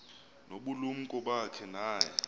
ngobulumko bakhe naye